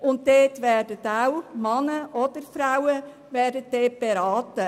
Auch dort werden Männer oder Frauen beraten.